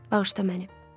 Bağışla məni.